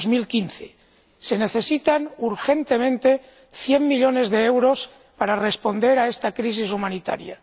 2015. Se necesitan urgentemente 100 millones de euros para responder a esta crisis humanitaria.